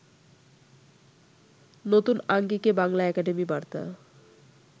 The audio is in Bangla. নতুন আঙ্গিকে বাংলা একাডেমি বার্তা